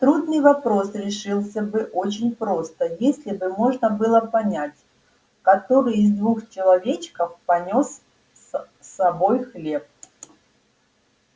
трудный вопрос решился бы очень просто если бы можно было понять который из двух человечков понёс с собой хлеб